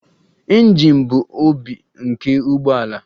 Injin bụ obi nke ụgbọ ala.